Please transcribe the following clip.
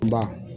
Ba